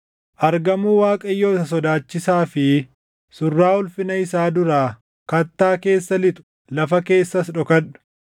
Argamuu Waaqayyoo isa sodaachisaa fi surraa ulfina isaa duraa, kattaa keessa lixu; lafa keessas dhokadhu!